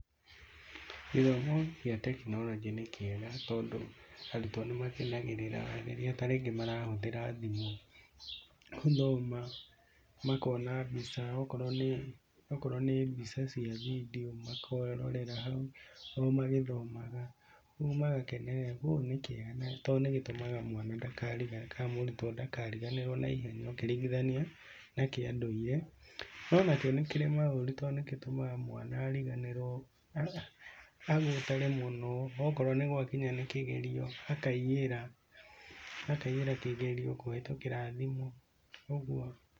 Gĩthomo gĩa tekinoronjĩ nĩ kĩega, tondũ, arutwo nĩ makenagĩrĩra rĩrĩa tarĩngĩ marahũthĩra thimũ, gũthoma, makona mbica, akorũo nĩ mbica cia video makerorera hau o magĩthomaga, ũguo magakenerera, ũguo nĩ kĩega na tondũ nĩ gĩtũmaga mwana ndaka kana mũrutwo ndakariganĩrũo na ihenya, ũkĩringithania, na kĩa ndũire. No onakĩo nĩ kĩrĩ maũru tondũ nĩ gĩtũmaga mwana ariganĩrũo, agũtare mũno, okorũo nĩ gũakinya nĩ kĩgerio, akaiyĩra, akaiyĩra kĩgerio kũhĩtũkĩra thimũ. Ũguo.